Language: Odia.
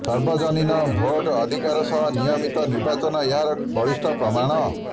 ସାର୍ବଜନୀନ ଭୋଟ ଅଧିକାର ସହ ନିୟମିତ ନିର୍ବାଚନ ଏହାର ବଳିଷ୍ଠ ପ୍ରମାଣ